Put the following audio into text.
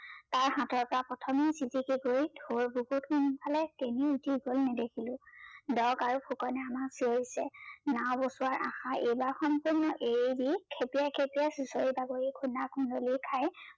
তাৰ হাতৰ পৰা প্ৰথমে চিতিকি পৰি ঢৌৰ বুকুত কোনফালে কেনি উতি গল নেদেখিলো। আৰু ফুকনে আমাক চিঞৰিছে নাও বচোৱাৰ আশা এইবাৰ সম্পূৰ্ণ এৰি দি খেপিয়াই খেপিয়াই চুচৰি বাগৰি খুন্দা খুন্দলি খাই